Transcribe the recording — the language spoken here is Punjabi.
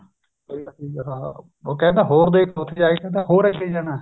ਉਹ ਕਹਿੰਦਾ ਹੋਰ ਦੇਖ ਉੱਥੇ ਜਾ ਕੇ ਕਹਿੰਦਾ ਹੋਰ ਅੱਗੇ ਜਾਣਾ